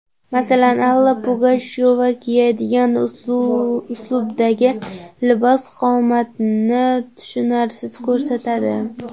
Masalan, Alla Pugachyova kiyadigan uslubdagi libos, qomatni tushunarsiz ko‘rsatadi.